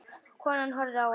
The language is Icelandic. Konan horfði á hann hissa.